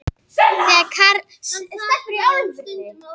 Þegar karldýrið er orðið rúmur millimetri á lengd gerir það sér óðal.